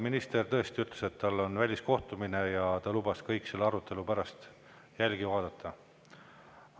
Minister tõesti ütles, et tal on väliskohtumine, ja ta lubas kõik selle arutelu pärast järele vaadata.